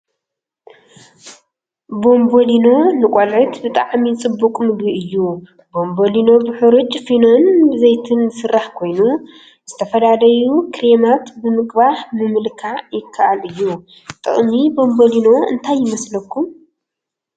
ቦምቦሊኖ ንቆልዑት ብጣዕሚ ፅቡቅ ምግቢ እዩ፡፡ ቦምቦሊኖ ብሕሩጭ ፊኖን ብዘይቲን ዝስራሕ ኮይኑ ዝተፈላለዩ ክሬማት ብምቅባሕ ምምልካዕ ይከአል እዩ፡፡ ጥቅሚ ቦምቦሊኖ እንታይ ይመስለኩም?